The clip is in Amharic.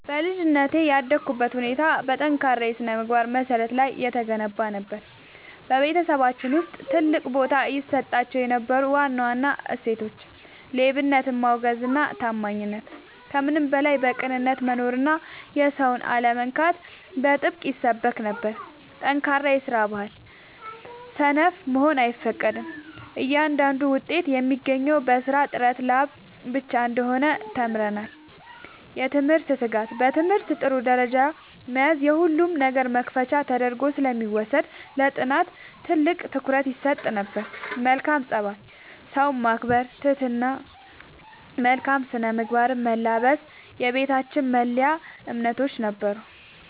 በልጅነቴ ያደግኩበት ሁኔታ በጠንካራ የሥነ-ምግባር መሠረት ላይ የተገነባ ነበር። በቤተሰባችን ውስጥ ትልቅ ቦታ ይሰጣቸው የነበሩ ዋና ዋና እሴቶች፦ ሌብነትን ማውገዝና ታማኝነት፦ ከምንም በላይ በቅንነት መኖርና የሰውን አለመንካት በጥብቅ ይሰበክ ነበር። ጠንካራ የስራ ባህል፦ ሰነፍ መሆን አይፈቀድም፤ እያንዳንዱ ውጤት የሚገኘው በራስ ጥረትና ላብ ብቻ እንደሆነ ተምረናል። የትምህርት ትጋት፦ በትምህርት ጥሩ ደረጃ መያዝ የሁሉም ነገር መክፈቻ ተደርጎ ስለሚወሰድ ለጥናት ትልቅ ትኩረት ይሰጥ ነበር። መልካም ፀባይ፦ ሰውን ማክበር፣ ትህትና እና መልካም ስነ-ምግባርን መላበስ የቤታችን መለያ እምነቶች ነበሩ።